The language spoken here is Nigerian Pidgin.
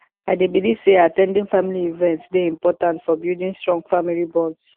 i dey believe say at ten ding family events dey important for building strong family bonds